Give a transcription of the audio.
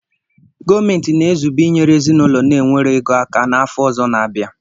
Goomenti na-ezube inyere ezinaūlo na-enwero ego aka n'afo ozo na-abia